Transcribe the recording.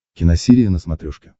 киносерия на смотрешке